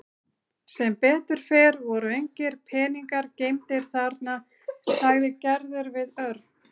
Sem betur fer voru engir peningar geymdir þarna sagði Gerður við Örn.